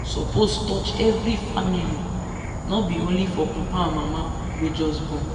suppose touch every family no be only for papa and mama wey just born.